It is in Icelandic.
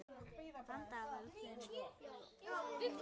Þann dag verður þingið rofið.